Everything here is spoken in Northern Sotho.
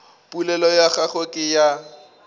polelo ya gagwe ke ya